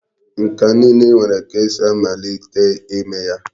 Nka niile nwere ka esi amalite ime ya.